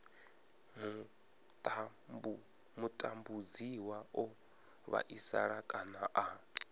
mutambudziwa o vhaisala kana a